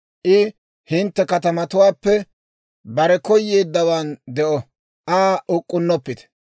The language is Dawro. I hintte katamatuwaappe bare koyeeddawan de'o; Aa uk'k'unnoppite.